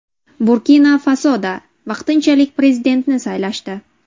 Burkina-Fasoda vaqtinchalik prezidentni saylashdi.